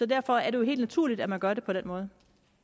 derfor er det jo helt naturligt at man gør det på den måde